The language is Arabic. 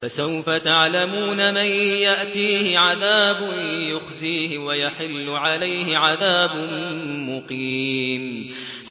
فَسَوْفَ تَعْلَمُونَ مَن يَأْتِيهِ عَذَابٌ يُخْزِيهِ وَيَحِلُّ عَلَيْهِ عَذَابٌ مُّقِيمٌ